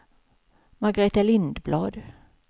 Margaretha Lindblad